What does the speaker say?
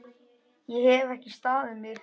Ég hef ekki staðið mig!